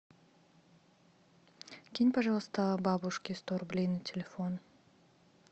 кинь пожалуйста бабушке сто рублей на телефон